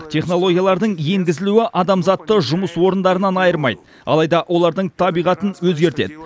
технологиялардың енгізілуі адамзатты жұмыс орындарынан айырмайды алайда олардың табиғатын өзгертеді